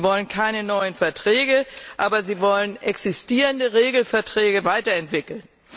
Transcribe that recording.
Sie wollen keine neuen Verträge, aber sie wollen existierende Regelverträge weiterentwickeln.